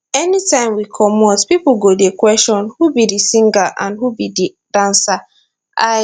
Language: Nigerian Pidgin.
anytime we comot pipo go dey question who be di singer and who be di dancer i